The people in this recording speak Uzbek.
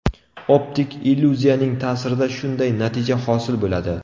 Optik illyuziyaning ta’sirida shunday natija hosil bo‘ladi.